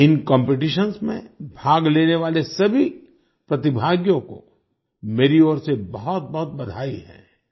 इन competitions में भाग लेने वाले सभी प्रतिभागियों को मेरी ओर से बहुतबहुत बधाई है